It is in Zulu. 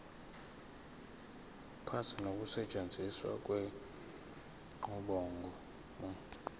ukuphatha nokusetshenziswa kwenqubomgomo